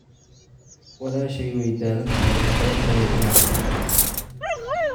Walaashay way daalan tahay, wax badan ayay ciyaartay.